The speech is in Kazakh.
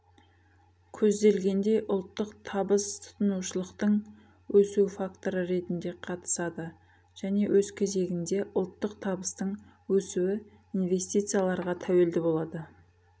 көзделгендей ұлттық табыс тұтынушылықтың өсу факторы ретінде қатысады және өз кезегінде ұлттық табыстың өсуі инвестицияларға тәуелді болады